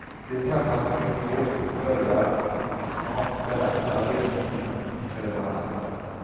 De träffas på ett tåg och börjar snart berätta reseminnen för varandra.